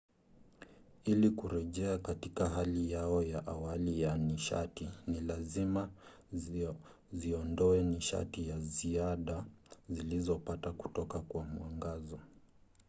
ili kurejea katika hali yao ya awali ya nishati ni lazima ziondoe nishati ya ziada zilizopata kutoka kwa mwangaza